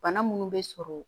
Bana munnu be sɔrɔ